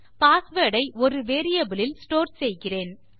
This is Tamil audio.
பாஸ்வேர்ட் ஐ ஒரு வேரியபிள் இல் ஸ்டோர் செய்கிறேன்